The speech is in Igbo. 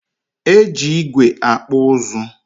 Eji ígwè akpụ ụzụ